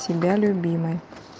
тебя любимый